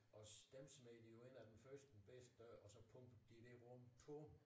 Og dem smed vi jo ind af den første bedste dør og pumpede de det rum tung